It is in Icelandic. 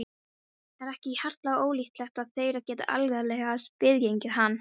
Er ekki harla ólíklegt að þeir geti algerlega sniðgengið hann?